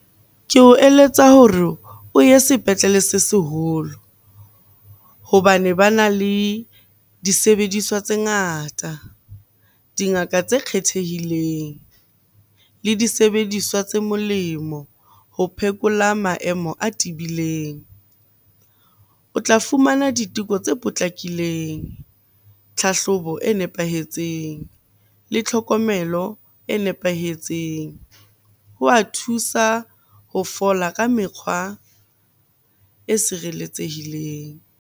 Ke o eletsa hore o ye sepetlele se seholo hobane bana le disebediswa tse ngata, dingaka tse kgethehileng le disebediswa tse molemo ho phekola maemo a tibileng. O tla fumana diteko tse potlakileng, tlhahlobo e nepahetseng le tlhokomelo e nepahetseng. Ho wa thusa ho fola ka mekgwa e sireletsehileng.